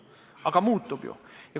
Aga muutub ju!